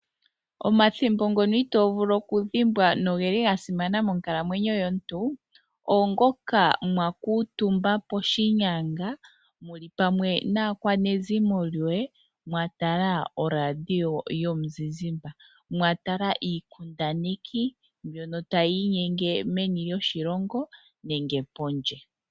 Omathimbo ngono itoovulu okudhimbwa nogeli gasimana monkalamwenyo yomuntu, oongoka mwakuutumba poshinyanga muli pamwe naakwanezimo lyoye mwatala oradio yomuzizimba. Mwatala iikundaneki mbyono tayi inyenge meni lyoshilongo nenge pondje.